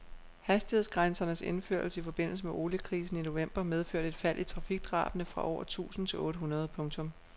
Hastighedsgrænsernes indførelse i forbindelse med oliekrisen i november medførte et fald i trafikdrabene fra over tusind til otte hundrede . punktum